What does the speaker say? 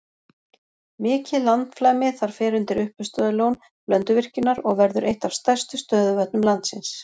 Mikið landflæmi þar fer undir uppistöðulón Blönduvirkjunar og verður eitt af stærstu stöðuvötnum landsins.